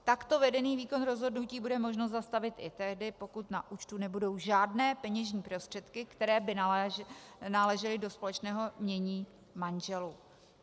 Takto vedený výkon rozhodnutí bude možno zastavit i tehdy, pokud na účtu nebudou žádné peněžní prostředky, které by náležely do společného jmění manželů.